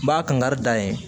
N b'a kan kari da ye